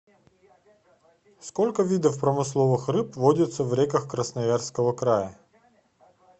сколько видов промысловых рыб водится в реках красноярского края